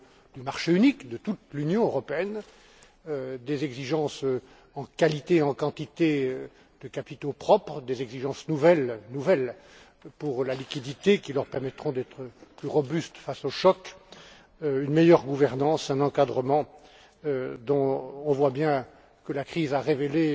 du marché unique de toute l'Union européenne, des exigences en qualité et en quantité de capitaux propres, des exigences nouvelles pour la liquidité qui leur permettront d'être plus robustes face aux chocs, une meilleure gouvernance, un encadrement dont on voit bien que la crise a révélé